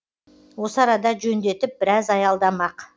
осы арада жөндетіп біраз аялдамақ